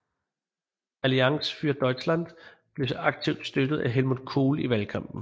Allianz für Deutschland blev aktivt støttet af Helmut Kohl i valgkampen